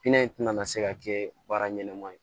Pinɛ in tɛna se ka kɛ baara ɲɛnama ye